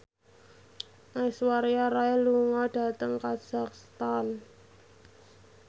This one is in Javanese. Aishwarya Rai lunga dhateng kazakhstan